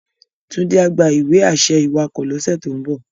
Tunde á gbá iwe-ašẹ iwákò lòs tó n bò